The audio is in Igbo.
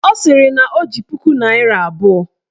Ọ sịrị na o ji puku naịra abụọ